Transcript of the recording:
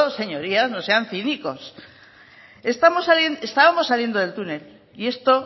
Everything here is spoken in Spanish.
señorías no sean cínicos estábamos saliendo del túnel y esto